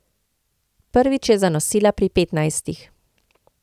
Prvič je zanosila pri petnajstih.